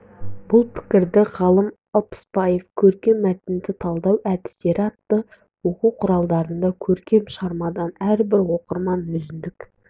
бұл пікірді ғалым алпысбаев көркем мәтінді талдау әдістері атты оқу құралында көркем шығармадан әрбір оқырман өзіндік